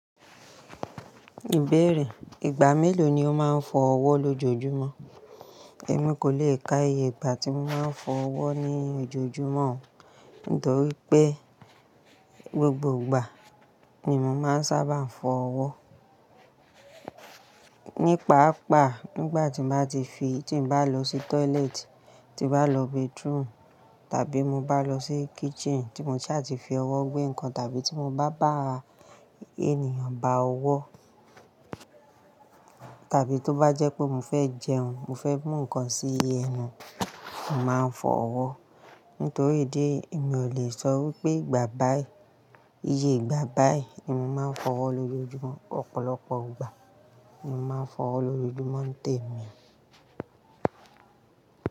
Ìbẹ̀rẹ̀ ìgbà mélòó ni o máa ń fọ ọwọ́ lójoojúmọ́? Ẹ̀mí kò le ka iye ìgbà tí mo máa ń fọ ọwọ́ ní ojoojúmọ́, nítorí pé gbogbo ìgbà ni mo máa ń sábà fọ ọwọ́. Nípaa pa, nígbà tí mo bá ti fi tí mo bá lọ sí toilet, tí bá lọ bathroom, tàbí mo bá lọ sí kitchen, tí mo sì à ti fi ọwọ́ gbé nǹkan, tàbí tí mo bá bá ènìyàn bá ọwọ́, tàbí tó bá jẹ́ pé mo fẹ́ jẹun, mo fẹ́ mú ǹkan sí ẹnu, ń màá fọ ọwọ́. Nítorí ìdí ẹ̀yí, èmi ò lè sọ wípé ìgbà báyi, iye ìgbà báyi ni mo máa ń fọ ọwọ́ lójoojúmọ́. Ọ̀pọ̀lọpọ̀ ìgbà ni mo máa ń fọ ọwọ́ lójoojúmọ́ ń tẹ mi.